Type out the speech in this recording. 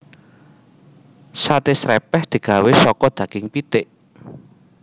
Saté srèpèh digawé saka daging pitik